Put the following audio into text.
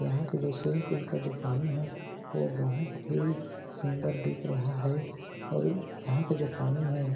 यहाँ का जो स्विंमिंग पूल का जो पानी है वो बहुत ही सुन्दर दिख रहा है और यहाँ का जो पानी है।